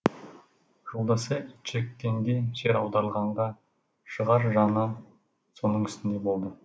жолдасы итжеккенге жер аударылғанда шығар жаны соның үстінде болды